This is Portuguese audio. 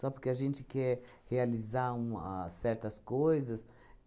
porque a gente quer realizar um a certas coisas?